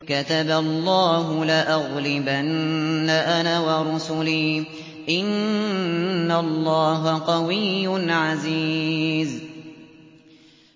كَتَبَ اللَّهُ لَأَغْلِبَنَّ أَنَا وَرُسُلِي ۚ إِنَّ اللَّهَ قَوِيٌّ عَزِيزٌ